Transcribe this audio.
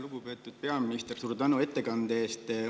Lugupeetud peaminister, suur tänu ettekande eest!